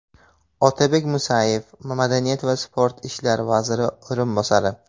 Otabek Musayev Madaniyat va sport ishlari vaziri o‘rinbosari .